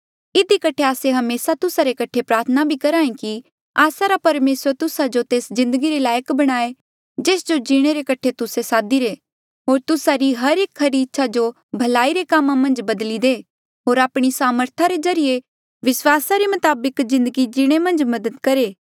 इधी कठे आस्से हमेसा तुस्सा रे कठे प्रार्थना भी करहा ऐें कि आस्सा रा परमेसर तुस्सा जो तेस जिन्दगी रे लायक बणाये जेस जो जीणे रे कठे तुस्से सादिरे होर तुस्सा री हर एक खरी इच्छा जो भलाई रे कामा मन्झ बदली दे होर आपणी सामर्था रे ज्रीए विस्वासा रे मताबक जिन्दगी जीणे मन्झ मदद करहे